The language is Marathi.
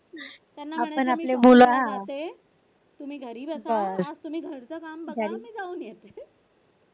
त्यांना म्हणायचं मी shopping ला जाते तुम्ही घरी बसा. तुम्ही घरच काम बघा. मी जाऊन येते.